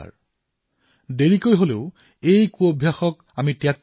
দেৰীকৈ হলেও অন্ততঃ হল এতিয়া এই থু পেলোৱাৰ অভ্যাস পৰিত্যাগ কৰিব লাগে